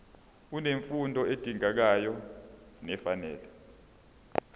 unemfundo edingekayo nefanele